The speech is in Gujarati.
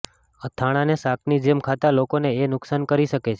અથાણાંને શાકની જેમ ખાતા લોકોને એ નુકસાન કરી શકે છે